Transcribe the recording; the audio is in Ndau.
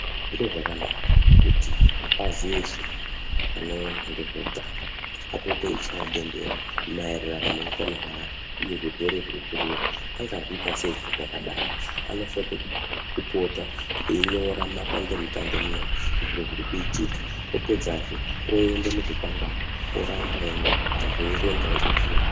Zviro zvakanaka kuti mapazi eshe anoona ngezveutano apote eichaya bembera maererano neutano hweantu uye zvirwere zvirikurura, angazviita sei zvakadaro. Anofane kupota einyora mumadandemutande munomu zviro zvirikuitika. Apedzazve oende muzvikwangwani, eindonyora, antu eierenga, eindofunda.